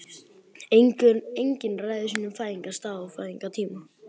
Enginn ræður sínum fæðingarstað og fæðingartíma.